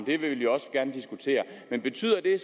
det vil vi også gerne diskutere men betyder det